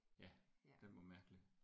Ja den var mærkelig